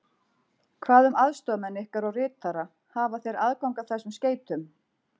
Hvað um aðstoðarmenn ykkar og ritara hafa þeir aðgang að þessum skeytum?